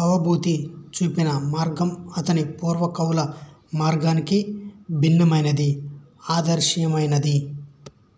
భవభూతి చూపిన మార్గం అతని పూర్వ కవుల మార్గానికి భిన్నమైనది ఆదర్శనీయయమైనది